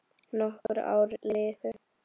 Nokkur ár liðu.